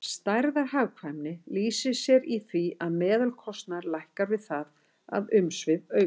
Stærðarhagkvæmni lýsir sér í því að meðalkostnaður lækkar við það að umsvif aukast.